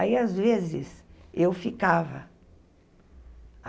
Aí, às vezes, eu ficava.